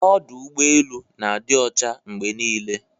Ọdụ ụgbọ elu na-adị ọcha mgbe niile.